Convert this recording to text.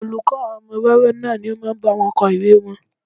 Olùkọ́ àwọn ọmọ wẹ́wẹ́ náà ni ó máa ń bá wọn kọ ìwée wọn